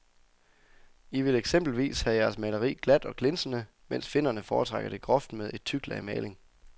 I vil eksempelvis have jeres maleri glat og glinsende, mens finnerne foretrækker det groft med et tykt lag maling.